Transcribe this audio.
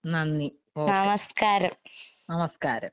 നന്ദി ഓക്കെ, നമസ്കാരം.